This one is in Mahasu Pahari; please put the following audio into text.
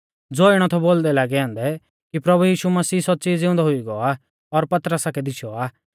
ज़ैबै सै तिऐ पौउंच़ै ता तिंउऐ सारेऊ लै बोलौ कि प्रभु यीशु मसीह सौच़्च़ी ज़िउंदौ हुई गौ आ और पतरसा कै दीशौ आ